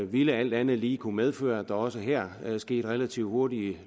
vil alt andet lige kunne medføre at der også her relativt hurtigt